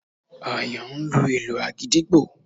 Àyàn ń lu ìlù àgídìgbo